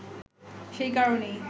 সেই কারণেই